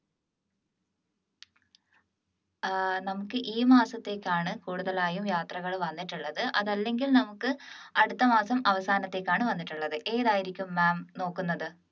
ഏർ നമുക്ക് ഈ മാസത്തേക്കാണ് കൂടുതലായും യാത്രകൾ വന്നിട്ടുള്ളത് അത് അല്ലെങ്കിൽ നമുക്ക് അടുത്തമാസം അവസാനത്തേക്ക് ആണ് വന്നിട്ടുള്ളത് ഏതായിരിക്കും ma'am നോക്കുന്നത്